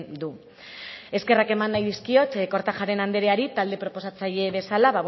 du eskerrak eman nahi dizkiot kortajarena andereari talde proposatzaile bezala